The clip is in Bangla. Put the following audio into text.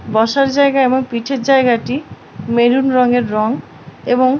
বসার জায়গা এবং পিঠের জায়গাটি মেরুন রংয়ের রং এবং--